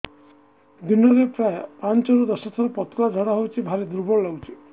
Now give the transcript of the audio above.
ଦିନରେ ପ୍ରାୟ ପାଞ୍ଚରୁ ଦଶ ଥର ପତଳା ଝାଡା ହଉଚି ଭାରି ଦୁର୍ବଳ ଲାଗୁଚି